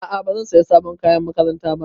A'a bazan saya sabon kayan makaranta ba